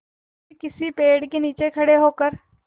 फिर किसी पेड़ के नीचे खड़े होकर